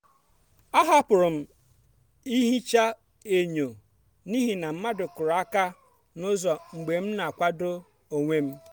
ahapụrụ m ihicha enyo n’ihi na mmadụ kuru aka n'ụzọ mgbe m na-akwado onwe m.